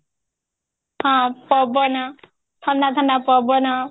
ହଁ ପବନ ଥଣ୍ଡା ଥଣ୍ଡା ପବନ